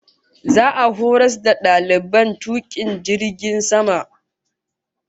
Za'a horas da dalibai dozin biyu tukun jirgin sama